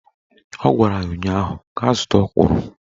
Ọ gwara ya ụnyaahụ "Gaa zụta ọkwụrụ!"